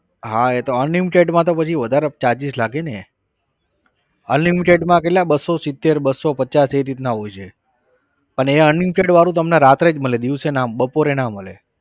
હા એ તો unlimited માં તો પછી વધારે જ charges લાગે ને unlimited માં કેટલા બસો સીતેર બસો પચાસ એ રીતના હોય છે. અને એ unlimited વાળું તમને રાત્રે જ મળે દિવસે ના બપોરે ના મળે.